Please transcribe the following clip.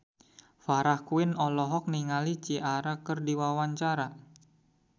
Farah Quinn olohok ningali Ciara keur diwawancara